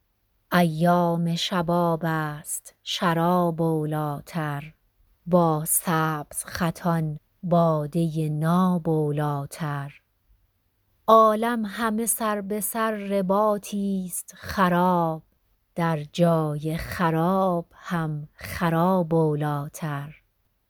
ایام شباب ست شراب اولاتر با سبزخطان باده ناب اولاتر عالم همه سر به سر رباطی ست خراب در جای خراب هم خراب اولاتر